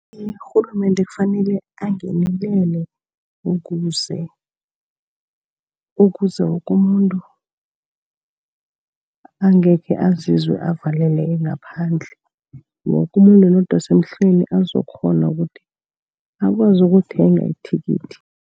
Iye, urhulumende kufanele angenelele ukuze, ukuze woke umuntu angekhe azizwe avaleleke ngaphandle. Woke umuntu, nodosa emhlweni azokukghona ukuthi akwazi ukulithenga ithikithi.